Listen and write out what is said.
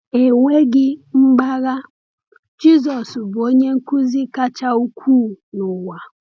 Enweghị mgbagha, Jisọs bụ Onye Nkuzi kacha ukwuu n’ụwa!